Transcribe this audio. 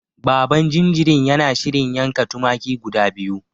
Baban jinjirin yana shirin yanka tumaki guda biyu.